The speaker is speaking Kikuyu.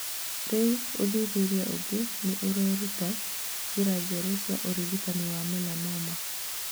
Rĩu ũthuthuria ũngĩ nĩ ũreruta njĩra njerũ cia ũrigitani wa melanoma.